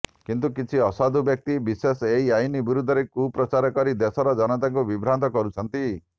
କିନ୍ତୁ କିଛି ଅସାଧୁ ବ୍ୟକ୍ତି ବିଶେଷ ଏହି ଆଇନ ବିରୁଦ୍ଧରେ କୁପ୍ରଚାର କରି ଦେଶର ଜନତାଙ୍କୁ ବିଭ୍ରାନ୍ତ କରୁଛନ୍ତି